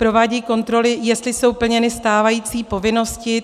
Provádějí kontroly, jestli jsou plněny stávající povinnosti.